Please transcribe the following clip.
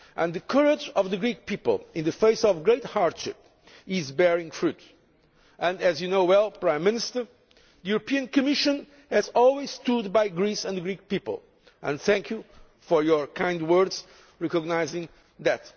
The courage of the Greek people in the face of great hardship is bearing fruit and, as you well know, Prime Minister, the European Commission has always stood by Greece and the Greek people. I thank you for your kind words recognising that.